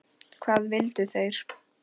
Hvað vildu þeir?